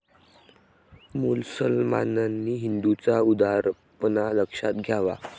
मुसलमानांनी हिंदूंचा उदारपणा लक्षात घ्यावा.